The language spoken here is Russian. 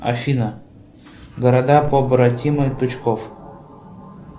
афина города побратимы тучков